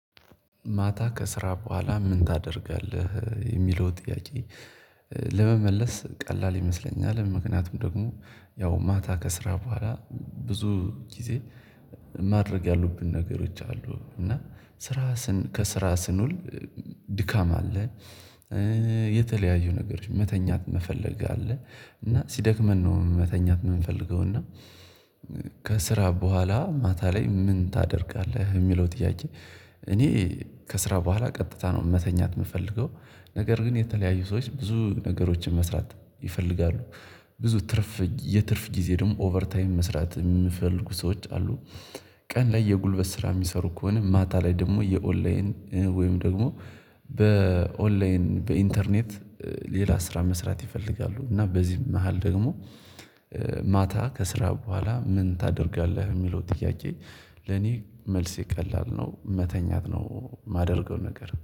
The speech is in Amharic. ማታ ከስራ በኋላ ምን ታደርጋለህ የሚለው ጥያቄ። ለመመለስ ቀላል ይመስለኛል ምክንያቱም ደግሞ ያው ማታ ከስራ በኋላ ብዙ ጊዜ ማድረግ ያሉብን ነገሮች አሉ። እና ስራ ስንል ከስራ ስንውል ድካም አለ። የተለያዩ ነገሮች መተኛት መፈለግ አለ እና ሲደክመን ነው መተኛት የምንፈልገው እና። ከስራ በኋላ ምን ታደርጋለህ የሚለው ጥያቄ? እኔ ከስራ በኋላ ቀጥታ ነው መተኛት የምፈልገው። ነገር ግን የተለያዩ ሰዎች ብዙ ነገሮችን መስራት ይፈልጋሉ። ብዙ ትርፍ የትርፍ ጊዜ ደግሞ ኦቨር ታይም መስራት የምፈልጉ ሰዎች አሉ። ቀን ላይ የጉልበት ስራ የሚሰሩ ከሆነ ማታ ላይ ደግሞ የኦንላይን ወይም ደግሞ በኦንላይን በኢንተርኔት ሌላ ስራ መስራት ይፈልጋሉ። እና በዚህም መሃል ደግሞ ማታ ከስራ በኋላ ምን ታደርጋለህ የሚለው ጥያቄ? ለኔ መልሴ የቀላል ነው መተኛት ነው የማደርገው ነገር